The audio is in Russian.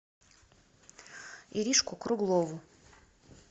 иришку круглову